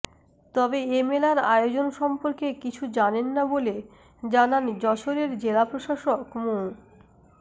তবে এ মেলার আয়োজন সম্পর্কে কিছু জানেন না বলে জানান যশোরের জেলা প্রশাসক মো